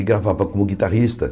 E gravava como guitarrista.